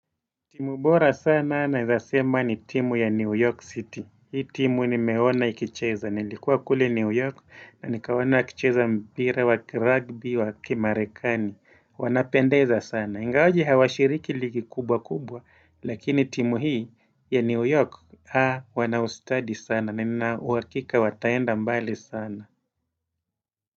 Timu bora sana naeza sema ni timu ya New York City. Hii timu nimeona ikicheza. Nilikuwa kule New York na nikaona wakicheza mpira wa kirugby wa kimarekani. Wanapendeza sana. Ingawaje hawashiriki ligi kubwa kubwa. Lakini timu hii ya New York, haa wana ustadi sana. Nina uhakika wataenda mbali sana.